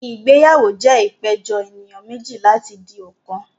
Ìgbéyàwó jẹ́ ìpéjọ ènìyàn méjì láti di ọ̀kan